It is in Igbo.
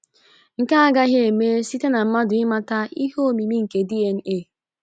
Nke a agaghị eme site na mmadụ ịmata ihe omimi nke DNA.